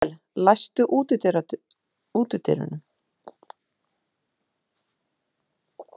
Ísabel, læstu útidyrunum.